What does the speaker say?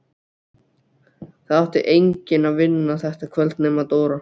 Það átti enginn að vinna þetta kvöld nema Dóra.